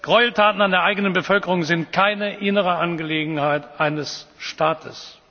dürfen. Gräueltaten an der eigenen Bevölkerung sind keine innere Angelegenheit eines